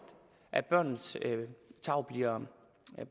at børnenes tarv bliver